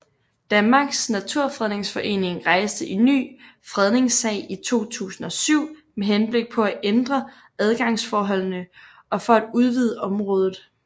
Danmarks Naturfredningsforening rejste en ny fredningssag i 2007 med henblik på at ændre adgangsforholdene og for at udvide området